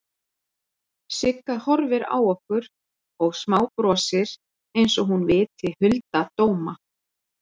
Sigga horfir á okkur og smábrosir einsog hún viti hulda dóma.